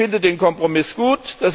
Ich finde den Kompromiss gut.